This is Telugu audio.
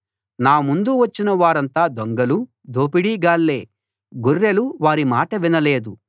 నా ముందు వచ్చిన వారంతా దొంగలు దోపిడిగాళ్ళే గొర్రెలు వారి మాట వినలేదు